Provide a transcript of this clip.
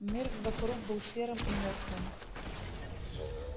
мир вокруг был серым и мёртвым